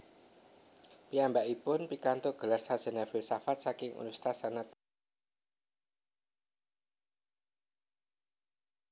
Piyambakipun pikantuk gelar sarjana filsafat saking Universitas Gadjah Mada